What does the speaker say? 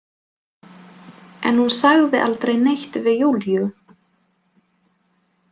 En hún sagði aldrei neitt við Júlíu.